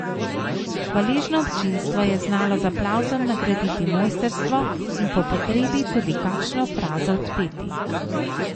Hvaležno občinstvo je znalo z aplavzom nagraditi mojstrstvo in po potrebi tudi kakšno frazo odpeti.